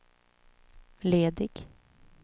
ledig